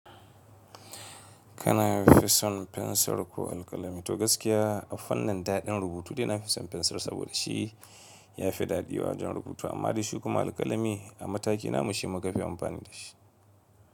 Kana fi son fensir ko alkalami? To gaskiya a fannin daɗin rubutu, dai ina fi son fensir saboda shi ya fi daɗiwa don rubutu amma da shi kuma alkalami a mataki na mu shi muka fi amfani da shi.